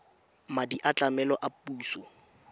madi a tlamelo a puso